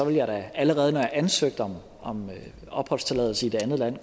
jeg da allerede når jeg ansøgte om om opholdstilladelse i det andet land